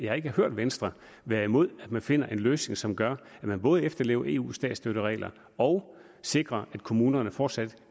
har ikke hørt venstre være imod at man finder en løsning som gør at man både efterlever eus statsstøtteregler og sikrer at kommunerne fortsat